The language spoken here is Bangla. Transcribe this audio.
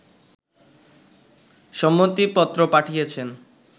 সম্মতিপত্র পাঠিয়েছেন